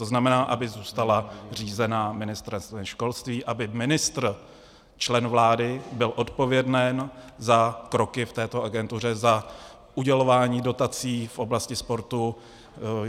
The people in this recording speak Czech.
To znamená, aby zůstala řízena Ministerstvem školství, aby ministr, člen vlády, byl odpověden za kroky v této agentuře, za udělování dotací v oblasti sportu.